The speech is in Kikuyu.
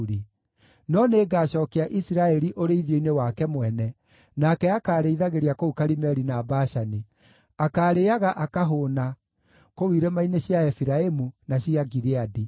No nĩngacookia Isiraeli ũrĩithio-inĩ wake mwene, nake akaarĩithagĩria kũu Karimeli na Bashani; akaarĩĩaga akahũũna kũu irima-inĩ cia Efiraimu, na cia Gileadi.